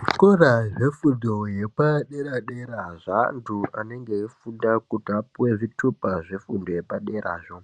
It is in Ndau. Zvikoro zvefundo yepadera-dera zveantu anenge eifunda kuti apuwe zvitupa zvefundo yepaderazvo